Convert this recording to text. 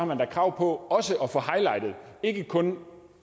man da krav på ikke kun